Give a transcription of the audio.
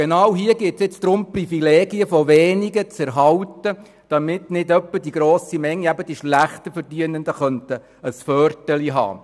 Genau in diesem Fall geht es aber darum, die Privilegien einiger weniger zu erhalten, damit nicht etwa die schlechter Verdienenden einen Vorteil hätten.